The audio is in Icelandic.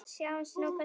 Sjáum nú hvað setur.